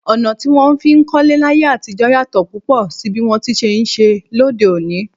Ọ̀nà tí wón fi ń kólé láyé àtijó yàtò púpọ̀ sí bí wọn ti ṣe ń ṣe lóde òní.